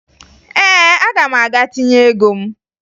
Ee, aga m aga tinye ego m